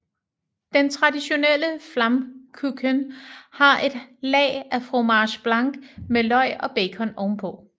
Den traditionelle Flammkuchen har et lag af fromage blanc med løg og bacon ovenpå